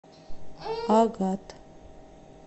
агат